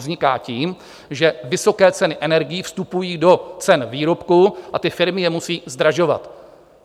Vzniká tím, že vysoké ceny energií vstupují do cen výrobků a ty firmy je musí zdražovat.